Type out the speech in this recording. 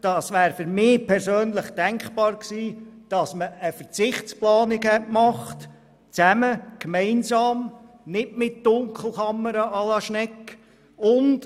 Für mich persönlich wäre es denkbar gewesen, dass man zusammen und gemeinsam eine Verzichtsplanung anstelle von Dunkelkammern à la Schnegg gemacht hätte.